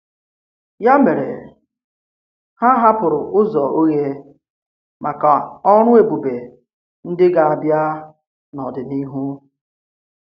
Yà mere, ha hapụrụ ụzọ̀ oghe maka ọrụ̀ èbùbè ndị gà-abịà n’ọ̀dịnihu.